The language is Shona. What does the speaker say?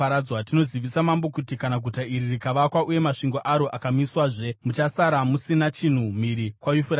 Tinozivisa mambo kuti kana guta iri rikavakwa uye masvingo aro akamiswazve, muchasara musina chinhu mhiri kwaYufuratesi.